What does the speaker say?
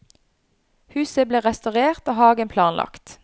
Huset ble restaurert og hagen planlagt.